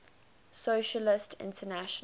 socialist international